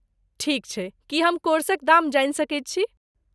ठीक छै! की हम कोर्सक दाम जानि सकैत छी?